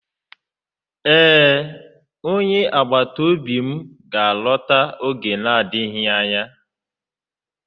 Ee, onye agbata obi m ga-alọta oge na-adịghị anya.